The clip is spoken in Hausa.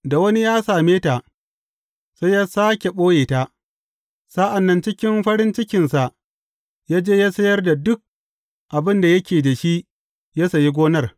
Da wani ya same ta, sai yă sāke ɓoye ta, sa’an nan cikin farin cikinsa yă je yă sayar da duk abin da yake da shi yă sayi gonar.